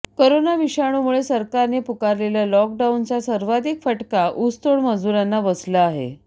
corona विषाणूमुळे सरकारने पुकारलेल्या लॉकडाऊनचा सर्वधिक फटका ऊसतोड मजुरांना बसला आहे